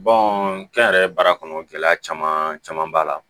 kɛnyɛrɛye baara kɔnɔ gɛlɛya caman caman b'a la